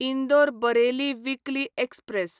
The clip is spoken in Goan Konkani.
Indore Bareilly weekly express